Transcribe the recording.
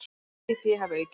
Eigið fé hafi því aukist.